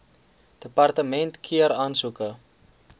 departement keur aansoeke